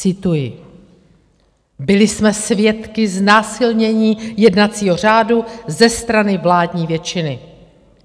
Cituji: Byli jsme svědky znásilnění jednacího řádu ze strany vládní většiny.